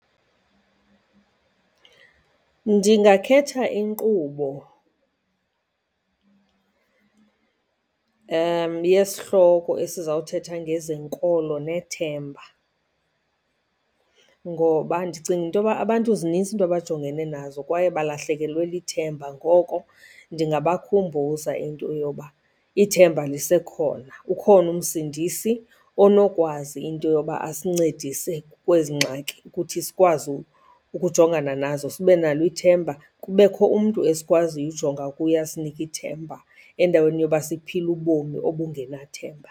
Ndingakhetha inkqubo yesihloko esizawuthetha ngezenkolo nethemba ngoba ndicinga into yoba abantu zinintsi iinto abajongene nazo kwaye balahlekelwe lithemba. Ngoko ndingabakhumbuza into yoba ithemba lisekhona, ukhona uMsindisi onokwazi into yoba asincedise kwezi ngxaki ukuthi sikwazi ukujongana nazo. Sibe nalo ithemba, kubekho umntu esikwaziyo ujonga kuye asinike ithemba, endaweni yoba siphile ubomi obungenathemba.